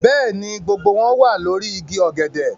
Bẹ́ẹ̀ ni, gbogbo wọn wà lórí igi ọ̀gẹ̀dẹ̀